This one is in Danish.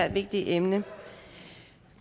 her vigtige emne